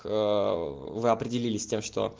вы определились с тем что